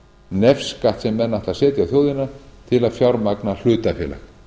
nefskatt sem menn ætla að setja á þjóðina til að fjármagna hlutafélag